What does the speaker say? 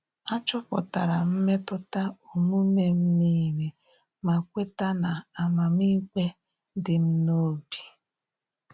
Achọpụtara m mmetụta omume m nile ma kweta na amamikpe di m n'obi